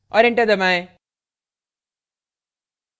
और enter दबाएं